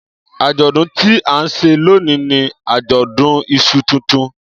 Ajọdun ti a nṣe loni ni ajọdun iṣu tuntun.